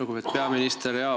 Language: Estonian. Lugupeetud peaminister!